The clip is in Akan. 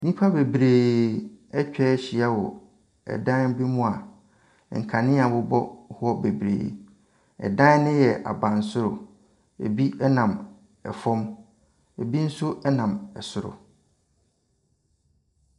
Nnipa bebree atwa ahyia ɛwɔ ɛdan bi mu a nkanea bobɔ ho bebree. Ɛdan no yɛ abansoro. Ebi ɛnam ɛfam. Ebi nso ɛnam ɛsoro.